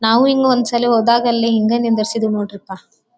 ನಾವು ಇಂಗ್ ಒಂದು ಸಲಿ ಹೋದಾಗ ಹಿಂಗೇ ನಿಂದಿರಿಸಿದ್ರು ನೊಡ್ರಪಾ.